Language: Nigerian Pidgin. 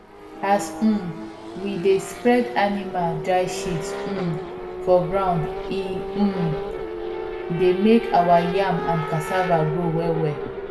as um we dey spread animal dry shit um for ground e um dey make our yam and cassava grow wellwell